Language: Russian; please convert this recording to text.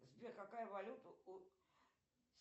сбер какая валюта у